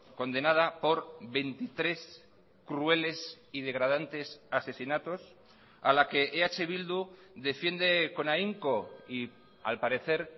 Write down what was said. condenada por veintitrés crueles y degradantes asesinatos a la que eh bildu defiende con ahínco y al parecer